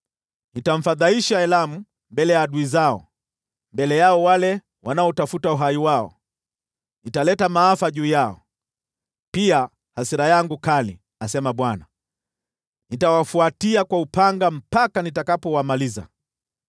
Nitamfadhaisha Elamu mbele ya adui zao, mbele yao wale wanaotafuta uhai wao; nitaleta maafa juu yao, naam, hasira yangu kali,” asema Bwana . “Nitawafuatia kwa upanga mpaka nitakapowamaliza.